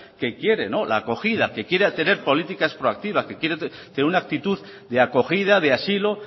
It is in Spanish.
que quiere la acogida que quiere tener políticas proactivas que quiere tener una actitud de acogida de asilo